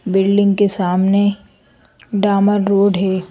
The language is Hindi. बिल्डिंग के सामने डामर रोड है।